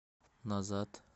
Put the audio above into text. назад